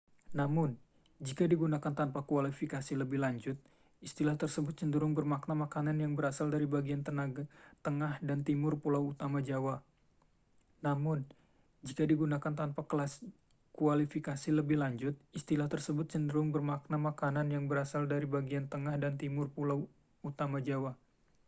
namun jika digunakan tanpa kualifikasi lebih lanjut istilah tersebut cenderung bermakna makanan yang berasal dari bagian tengah dan timur pulau utama jawa